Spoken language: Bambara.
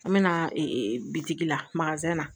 An bɛ na bitigi la na